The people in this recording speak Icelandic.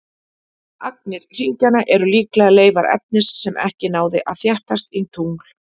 Agnir hringjanna eru líklega leifar efnis sem ekki náði að þéttast í tungl.